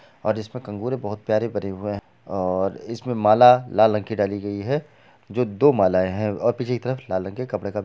और इसमे बहुत प्यारे और इसमे माला लाल रंग की डली हुई है जो दो माला है और पीछे की तरफ लाल रंग के कपड़े का----